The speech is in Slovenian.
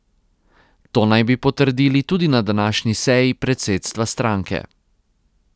To naj bi potrdili tudi na današnji seji predsedstva stranke.